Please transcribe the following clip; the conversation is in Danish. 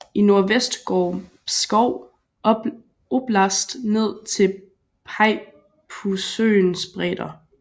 I nordvest går Pskov oblast ned til Peipussøens bredder